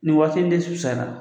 Nin waati in de